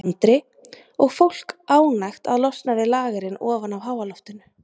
Andri: Og fólk ánægt að losna við lagerinn ofan af háaloftinu?